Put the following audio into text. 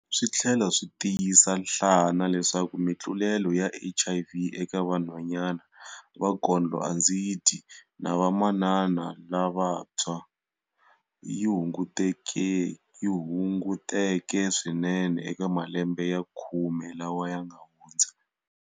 Swi tlhela swi tiyisa nhlana leswaku mitlulelo ya HIV eka vanhwanyana va kondlo-andzi-dyi na vamanana lavantshwa yi hunguteke swinene eka malembe ya khume lawa ma nga hundza.